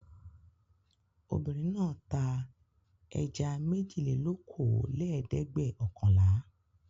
Obìnrin náà ta ẹja méjìlélókòólẹ́ẹ̀dẹ́gbẹ̀ọ̀kànlá.